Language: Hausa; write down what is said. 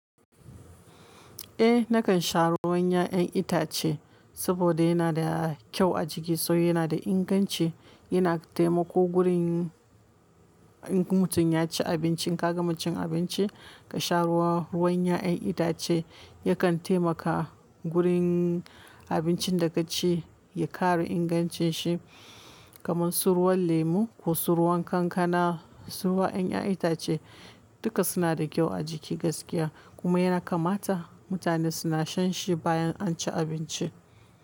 Eh nakan sha ruwan 'ya'yan itace saboda yana da kyau a jiki, sai yana da inganci yana taimako gurin in mutum ya ci abinci, ka gama cin abinci ka sha ruwa, ruwan 'ya'yan itace yakan taimaka gurin abincin da ka ci ya ƙara ingancin shi kamar su ruwan lemu ko su ruwan kankana, su ruwan 'ya'yan itace duka suna da kyau a jiki gaskiya kuma yana kamata mutane suna shan shi bayan an ci abinci.